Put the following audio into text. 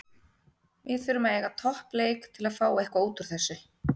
Við þurfum að eiga topp leik til að fá eitthvað útúr þessu.